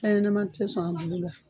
Fɛn yɛnɛman te sɔn a bulu la